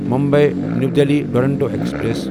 Mumbai new Delhi Duronto express